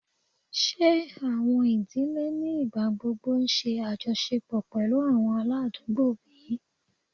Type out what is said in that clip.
Ṣe awọn idile ni igbagbogbo ṣe ajọṣepọ pẹlu awọn aladugbo bi?